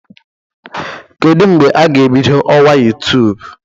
Kedu mgbe a ga-ebido ọwa YouTube?